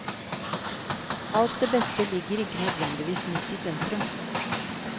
Alt det beste ligger ikke nødvendigvis midt i sentrum.